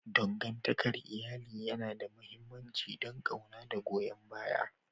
Dangantakar iyali yana da mahimmanci don ƙauna da goyon baya.